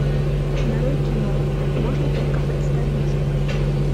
нарой кино можно только представить